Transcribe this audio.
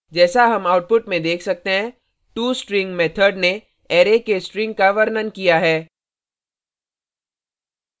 जैसा हम output में देख सकते हैं tostring method ने array के string का वर्णन किया है